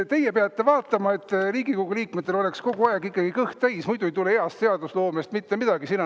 Teie peate vaatama, et Riigikogu liikmetel oleks kogu aeg ikkagi kõht täis, muidu ei tule heast seadusloomest mitte midagi välja.